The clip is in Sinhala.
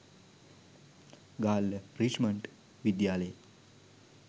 ගාල්ල රිච්මන්ඩි විද්‍යාලයේ